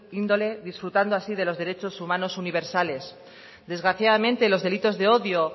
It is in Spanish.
índole disfrutando así de los derechos humanos universales desgraciadamente los delitos de odio